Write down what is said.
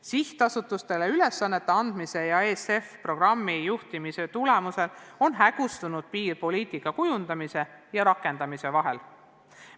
Sihtasutustele ülesannete andmise ja ESF-i programmi juhtimise tulemusel on hägustunud piir poliitika kujundamise ja rakendamise vahel.